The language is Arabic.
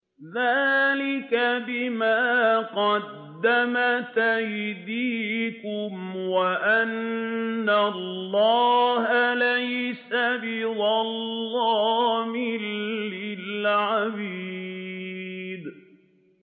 ذَٰلِكَ بِمَا قَدَّمَتْ أَيْدِيكُمْ وَأَنَّ اللَّهَ لَيْسَ بِظَلَّامٍ لِّلْعَبِيدِ